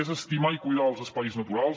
és estimar i cuidar els espais naturals